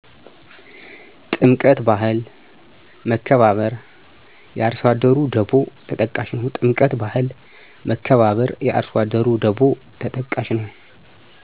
ጥምቀት ባህል፣ መከባበር፣ የአርሶአደሩ ደቮ ተጠቃሽ ነው